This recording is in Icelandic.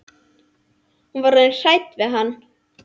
Hún var orðin hrædd við hann.